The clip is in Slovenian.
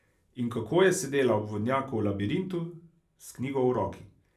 In kako je sedela ob vodnjaku v labirintu, s knjigo v roki.